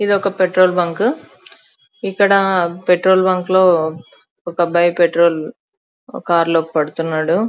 ఇదొక petrol bunk ఇక్కడ petrol bunk లో ఒక అబ్బాయి పెట్రోల్ కారులో లో పెడ్తున్నాడు.